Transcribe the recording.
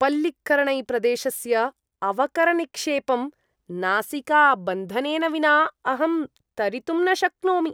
पळ्ळिकरनैप्रदेशस्य अवकरनिक्षेपं नासिकाबन्धनेन विना अहं तरितुं न शक्नोमि।